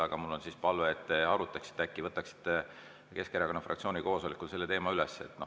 Aga mul on palve, et te arutaksite ja äkki võtaksite Keskerakonna fraktsiooni koosolekul selle teema üles.